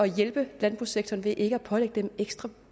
hjælpe landbrugssektoren ved ikke at pålægge den ekstra